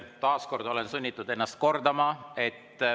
Taas kord olen sunnitud ennast kordama.